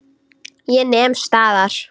Ég nem staðar.